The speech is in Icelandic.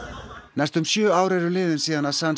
næstum sjö ár eru liðin síðan